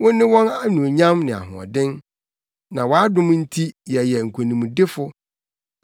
Wone wɔn anuonyam ne ahoɔden, na wʼadom nti yɛyɛ nkonimdifo.